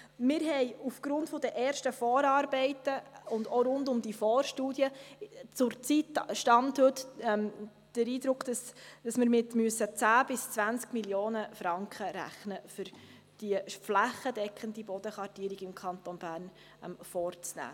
Wir haben aufgrund der ersten Vorarbeiten und auch rund um die Vorstudie zurzeit, per Stand heute, den Eindruck, dass wir mit 10 bis 20 Mio. Franken rechnen müssen, um diese flächendeckende Bodenkartierung im Kanton Bern vorzunehmen.